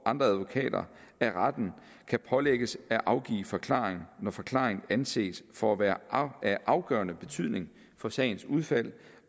andre advokater af retten kan pålægges at afgive forklaring når forklaring anses for at være af afgørende betydning for sagens udfald